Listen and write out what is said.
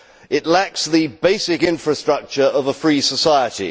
It lacks the basic infrastructure of a free society.